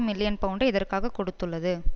million பவுண்டை இதற்காகக் கொடுத்துள்ளது